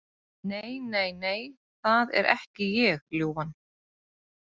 Nei, nei, nei, það er ekki ég, ljúfan.